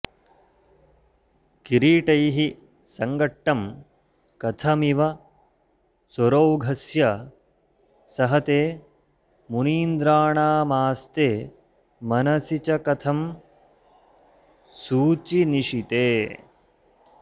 किरीटैः संघट्टं कथमिव सुरौघस्य सहते मुनीन्द्राणामास्ते मनसि च कथं सूचिनिशिते